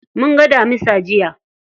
Munga damisa jiya.